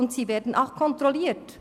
Und sie werden auch kontrolliert.